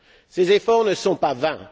Ces efforts ne sont pas vains.